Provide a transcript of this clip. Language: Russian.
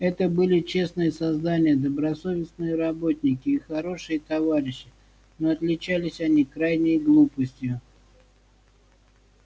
это были честные создания добросовестные работники и хорошие товарищи но отличались они крайней глупостью